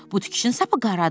Bu tikişin sapı qaradır.